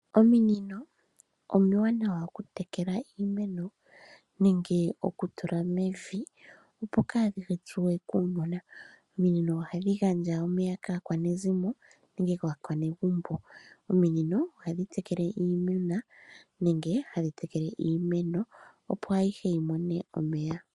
Ominino omiwanawa okutekela iimeno nenge okutula mevi opo kaadhi tsuwe kuunona. Ominino ohadhi gandja omeya kaakwanezimo nenge kaakwanegumbo. Ominino ohadhi tekele iimeno opo ayihe yi mone omeya.